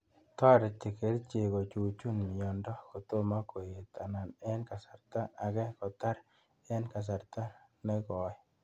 Tareti kerchek kochuchuch mioni kotomo koet anan ing kasarta agei kotar ing kasarta ne koi.